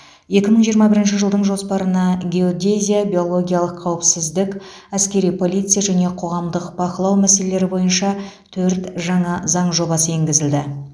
екі мың жиырма бірінші жылдың жоспарына геодезия биологиялық қауіпсіздік әскери полиция және қоғамдық бақылау мәселелері бойынша төрт жаңа заң жобасы енгізілді